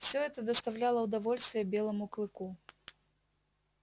все это доставляло удовольствие белому клыку